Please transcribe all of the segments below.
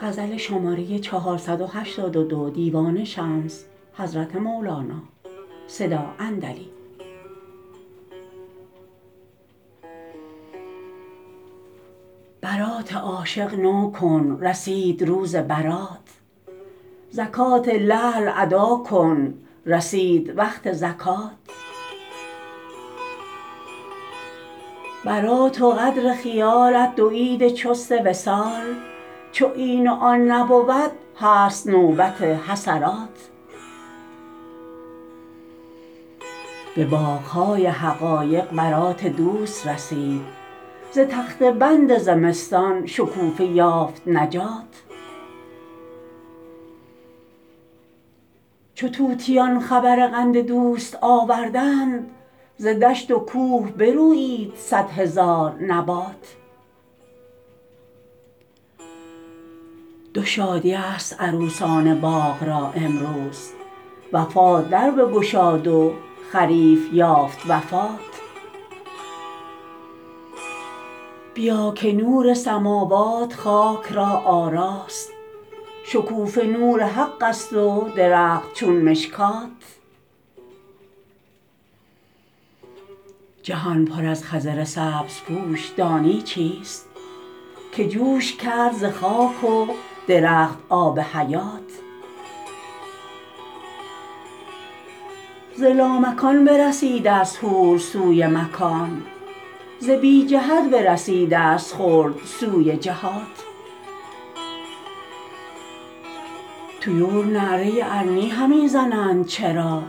برات عاشق نو کن رسید روز برات زکات لعل ادا کن رسید وقت زکات برات و قدر خیالت دو عید چیست وصال چو این و آن نبود هست نوبت حسرات به باغ های حقایق برات دوست رسید ز تخته بند زمستان شکوفه یافت نجات چو طوطیان خبر قند دوست آوردند ز دشت و کوه برویید صد هزار نبات دو شادی ست عروسان باغ را امروز وفات در بگشاد و خریف یافت وفات بیا که نور سماوات خاک را آراست شکوفه نور حق است و درخت چون مشکات جهان پر از خضر سبزپوش دانی چیست که جوش کرد ز خاک و درخت آب حیات ز لامکان برسیده ست حور سوی ملک ز بی جهت برسیده ست خلد سوی جهات طیور نعره ارنی همی زنند چرا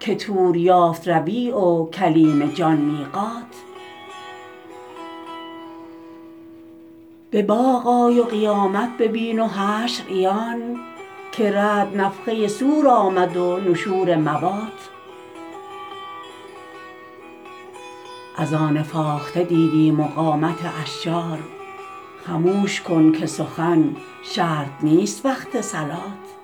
که طور یافت ربیع و کلیم جان میقات به باغ آی و قیامت ببین و حشر عیان که رعد نفخه صور آمد و نشور موات اذان فاخته دیدیم و قامت اشجار خموش کن که سخن شرط نیست وقت صلات